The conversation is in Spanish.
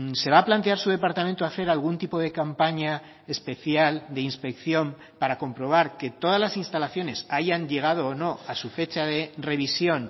se va a plantear su departamento hacer algún tipo de campaña especial de inspección para comprobar que todas las instalaciones hayan llegado o no a su fecha de revisión